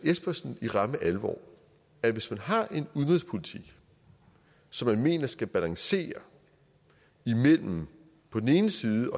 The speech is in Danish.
espersen i ramme alvor at hvis man har en udenrigspolitik som man mener skal balancere imellem på den ene side